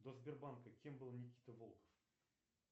до сбербанка кем был никита волков